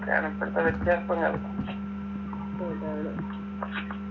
വേറെന്തൊക്കെ വ്യത്യാസങ്ങള്